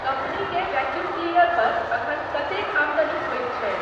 company के vacuum cleaner पर एखन कतेक आमदनी होए छाई